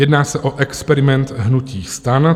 Jedná se o experiment hnutí STAN.